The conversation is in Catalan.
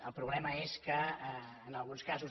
el problema és que en alguns casos